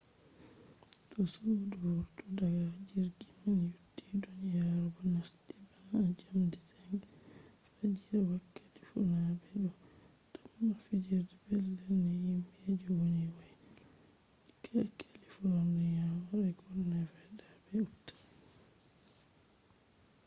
to sudu vurti daga jirgi man yotti duniyaru bo nasti bana jamdi 5 fajiri wakkati fuuna be do tamma fijirde petel ni himbe je woni woyla california oregon nevada be utah